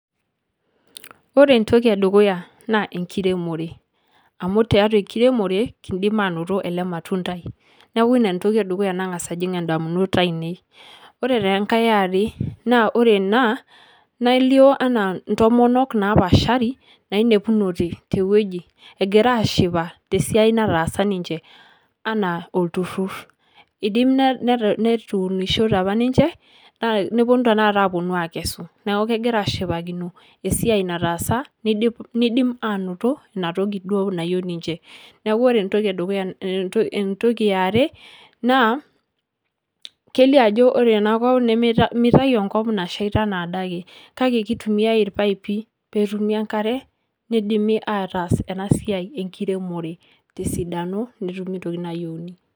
Ore entoki e dukuya naa enkiremore amu tiatua enkiremore kiindim anoto ele matundai, neeku iina entoki e dukuya nang'asa ajing' ndamunot ainei. Ore tenkai e are naa ore ena nelio enaa ntomonok napaashari nainepunote te wueji egira aashipa te siai nataasa ninje anaa olturur, idim netuunishote apa ninje nepomu tenakata aaponu aakesu, neeku kegira aashipakino esiai nataasa nidip nidim aanoto ina toki duo nayeu ninje. Neeku ore entoki e dukuya ento entoki e are naa kelio ajo ore ena kop mitayu enkop nashaita enaa ade ake kake kitumiai irpaipi peetumi enkare nidimi ataas ena siai enkiremore te sidano netumi ntokitin nayeuni.